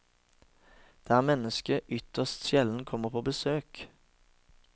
Der mennesker ytterst sjelden kommer på besøk.